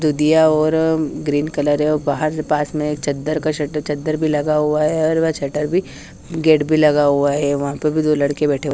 दिया और green colour है और बाहर के पास में चद्दर का शट चद्दर भी लगा हुआ है और वहां शटर भी गेट भी लगा हुआ है वहां पे भी दो लड़के बैठे हुए हैं।